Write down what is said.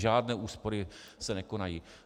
Žádné úspory se nekonají.